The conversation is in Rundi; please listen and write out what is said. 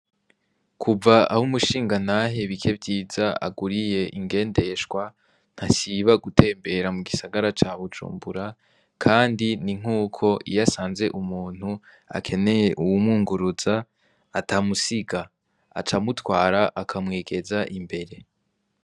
Kuva aho umushingantahe bikevyiza aguriye ingendeshwa ntasiba gutembera mu gisagara ca bujumbura, kandi ni nk'uko iyasanze umuntu akeneye uwumunguruza atamusiga , aca amutwara akamwegeza imbere.